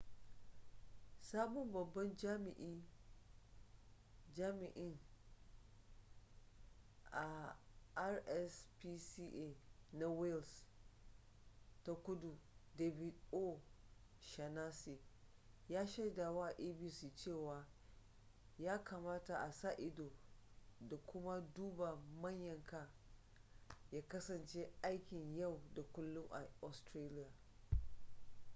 sabon babban jami'in rspca na wales ta kudu david o'shannessy ya shaidawa abc cewa ya kamata a sa-ido da kuma duba mayanka ya kasance aikin yau da kullum a australia